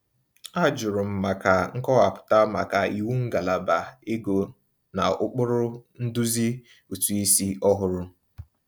A jụrụ m maka nkọwapụta maka iwu ngalaba ego n'ụkpụrụ nduzi ụtụisi ọhụrụ.